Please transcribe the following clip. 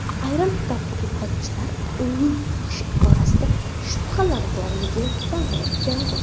Ayrim tadqiqotchilar uning yoshi borasida shubhalar borligini bildirib keladi.